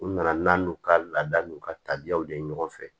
U nana n'an n'u ka laada n'u ka tabiyaw de ye ɲɔgɔn fɛ